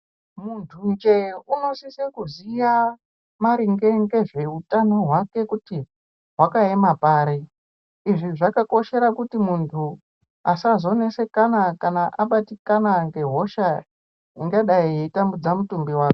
Munthu nje unosisa kuziya maringe ngezveutano hwake kuti hwakaema pari izvi zvakakoshera kuti munthu asazonesekana kana abatikana ngehosha ingadai yeitambudza mutumbi wake.